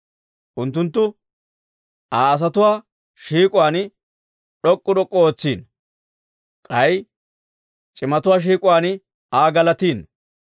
Unttunttu Aa asatuwaa shiik'uwaan d'ok'k'u d'ok'k'u ootsino; k'ay c'imatuwaa shiik'uwaan Aa galatino.